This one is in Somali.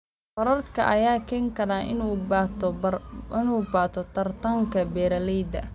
Waraabka ayaa keeni kara in uu bato tartanka beeralayda.